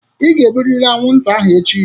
Ị ga-egburịrị anwụnta ahụ echi!